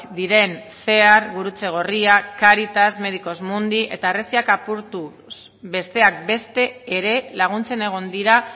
diren cear gurutze gorria cáritas medicos mundi eta harresiak apurtuz besteak beste ere laguntzen egon dira